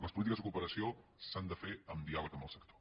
les polítiques de cooperació s’han de fer amb diàleg amb el sector